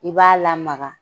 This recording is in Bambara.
I b'a lamaga.